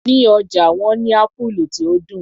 Ní ọjà wọ́n ní Ápúlú tí ó dùn.